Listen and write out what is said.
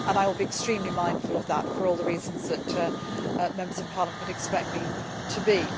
I will be extremely mindful of that for all the reasons that Members of Parliament would expect me to be.